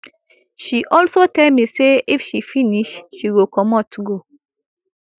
she also tell me say if she finish she go comot go